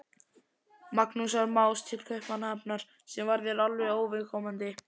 Magnúsar Más til Kaupmannahafnar, sem var þér alveg óviðkomandi.